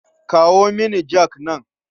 Kawo mini jak nan.